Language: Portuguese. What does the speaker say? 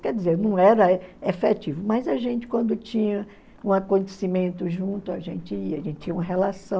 Quer dizer, não era efetivo, mas a gente, quando tinha um acontecimento junto, a gente ia, a gente tinha uma relação,